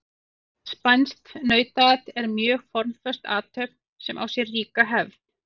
Spænskt nautaat er mjög formföst athöfn sem á sér ríka hefð.